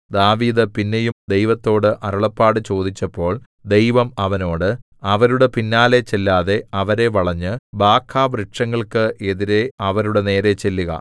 ദാവീദ് പിന്നെയും ദൈവത്തോടു അരുളപ്പാട് ചോദിച്ചപ്പോൾ ദൈവം അവനോട് അവരുടെ പിന്നാലെ ചെല്ലാതെ അവരെ വളഞ്ഞ് ബാഖാവൃക്ഷങ്ങൾക്ക് എതിരെ അവരുടെ നേരെ ചെല്ലുക